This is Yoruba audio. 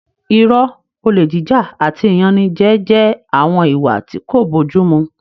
Irọ́, olè jíjà àti ìyanijẹ jẹ́ àwọn ìwà tí kò bójú mu